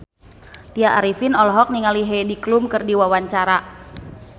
Tya Arifin olohok ningali Heidi Klum keur diwawancara